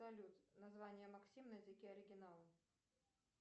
салют название максим на языке оригинала